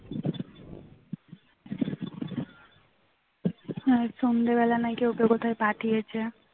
হ্যাঁ সন্ধ্যা বেলায় ওকে নাকি কোথায় পাঠিয়েছে